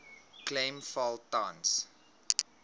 klem val tans